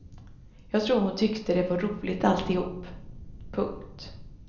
Jag tror hon tyckte det var roligt alltihop. punkt